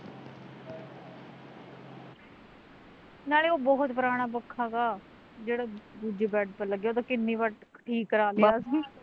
ਨਾਲੇ ਉਹ ਬਹੁਤ ਪੁਰਾਣਾ ਪੱਖਾ ਤਾ, ਜਿਹੜਾ, ਦੂਜਾ ਦੂਜੇ ਬੈਡ ਪਰ ਲੱਗਿਆ ਵਾ ਨਾਲੇ ਕਿੰਨੀ ਵਾਰ ਠੀਕ ਕਰਾ ਲਿਆ